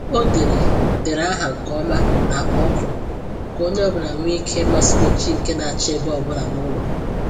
O dere dere aha nke ọma n’akpa ọkụ ka onye ọbụla nwee ike ịma swịchị nke na-achị ebe ọ bụla n’ụlọ